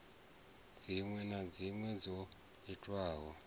dziṅwe na dziṅwe dzo itwaho